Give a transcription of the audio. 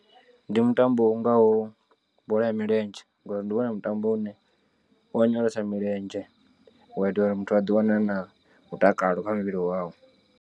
Ndi mutambo u ngaho bola ya milenzhe ngori ndi wone mutambo une u onyolosa milenzhe u itela uri muthu a ḓiwane a na mutakalo kha muvhili wawe.